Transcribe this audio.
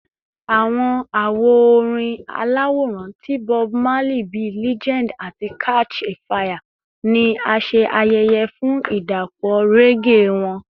Awọn awo orin alaworan ti Bob Marley bii “Legend” ati “Catch a Fire” ni a ṣe ayẹyẹ fun idapọ reggae wọn.